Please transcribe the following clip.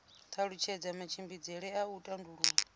talutshedza matshimbidzele a u tandulula